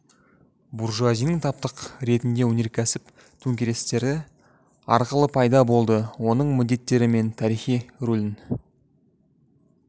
буржуазияның таптық ретінде өнеркәсіп төңкерістері арқылы пайда болды оның міндеттері мен тарихи рөлін